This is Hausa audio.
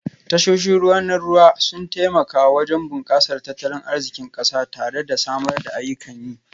Tashoshin ruwa na ruwa sun taimaka wajen bunkasar tattalin arzikin kasar tare da samar da ayyukan yi